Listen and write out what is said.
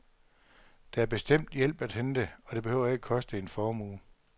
Der er bestemt hjælp at hente, og det behøver ikke koster en formue.